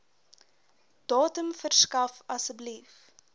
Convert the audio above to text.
datum verskaf asseblief